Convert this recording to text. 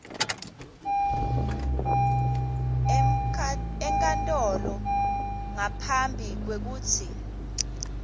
enkantolo ngaphambi kwekutsi